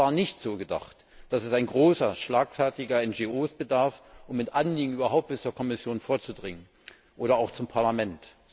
Und es war nicht so gedacht, dass es großer, schlagfertiger NGO bedarf, um mit Anliegen überhaupt bis zur Kommission vorzudringen oder auch zum Parlament.